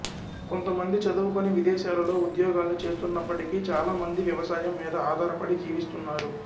కొంత మంది చదువుకొని విదేశాలలో ఉద్యోగాలు చేస్తున్నప్పటికీ చాలా మంది వ్యవసాయం మీద ఆధారపడి జీవిస్తున్నారు